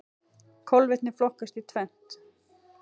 Kolvetni flokkast í tvennt.